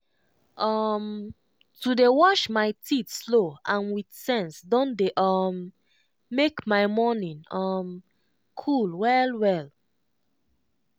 um to dey wash my teeth slow and with sense don dey um make my morning um cool well well.